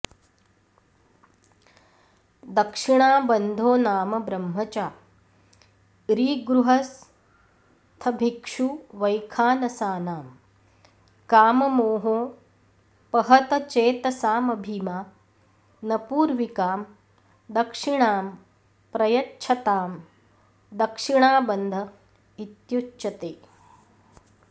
दक्षिणाबन्धो नाम ब्रह्मचारिगृहस्थभिक्षुवैखानसानां काममोहोपहतचेतसामभिमानपूर्विकां दक्षिणां प्रयच्छतां दक्षिणाबन्ध इत्युच्यते